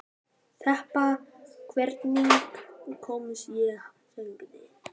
Þeba, hvernig kemst ég þangað?